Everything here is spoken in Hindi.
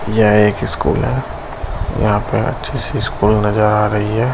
यह एक स्कूल है। यहाँ पे अच्छी सी स्कूल नजर आ रही है।